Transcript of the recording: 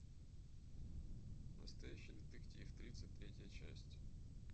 настоящий детектив тридцать третья часть